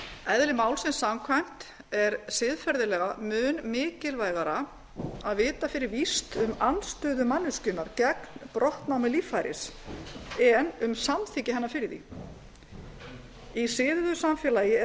eðli málsins samkvæmt er siðferðilega mun mikilvægara að vita fyrir víst um andstöðu manneskjunnar gegn brottnámi líffæris en um samþykki hennar fyrir því í siðuðu samfélagi er